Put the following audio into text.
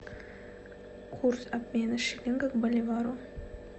курс обмена шиллинга к боливару